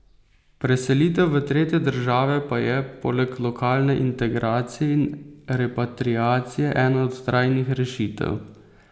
Preselitev v tretje države pa je, poleg lokalne integracije in repatriacije, ena od trajnih rešitev.